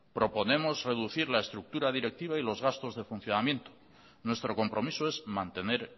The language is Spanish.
proponemos reducir la estructura directiva y las gastos de funcionamiento nuestro compromiso es mantener